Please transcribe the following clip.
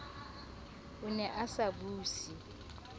o ne a sa buse